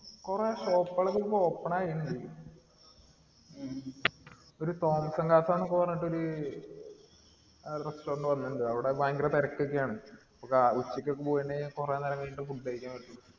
കുറെ shop കൾ ക്കെ ഇപ്പോ open ആയിട്ടുണ്ട് ഒരു പറഞ്ഞിട്ട് ഒരു restaurant പോലെണ്ട് അവിടെ ഭയങ്കര തിരക്കൊക്കെയാണ് ഉച്ചക്കൊക്കെ പോയിനെ കുറെ നേരം കഴിഞ്ഞിട്ട food കഴിക്കാൻ പറ്റു